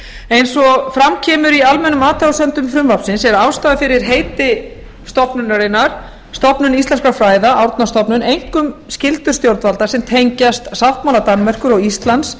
eins og fram kemur í almennum athugasemdum frumvarpsins er ástæða fyrir heiti stofnunarinnar stofnun íslenskra fræða árnastofnun einkum skyldur stjórnvalda sem tengjast sáttmála danmerkur og íslands